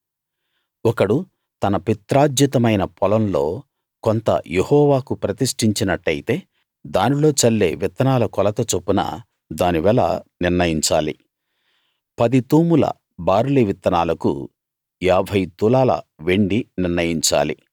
ఒకడు తన పిత్రార్జితమైన పొలంలో కొంత యెహోవాకు ప్రతిష్ఠించినట్టయితే దానిలో చల్లే విత్తనాల కొలత చొప్పున దాని వెల నిర్ణయించాలి పది తూముల బార్లీ విత్తనాలకు ఏభై తులాల వెండి నిర్ణయించాలి